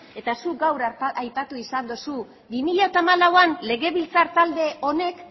eta zuk gaur aipatu izan duzu bi mila hamalauean legebiltzar talde honek